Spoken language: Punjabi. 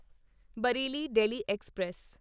ਬਾਰੇਲੀ ਦਿਲ੍ਹੀ ਐਕਸਪ੍ਰੈਸ